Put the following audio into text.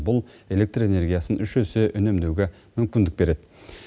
бұл электр энергиясын үш есе үнемдеуге мүмкіндік береді